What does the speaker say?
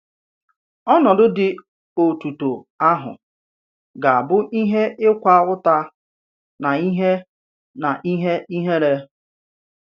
Ọ̀nọdụ dị òtùtò àhụ̀ gà-abụ ìhè ị̀kwà ùtà nà ìhè nà ìhè ìhè̀ré.